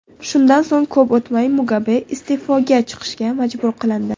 Shundan so‘ng ko‘p o‘tmay Mugabe iste’foga chiqishga majbur qilindi.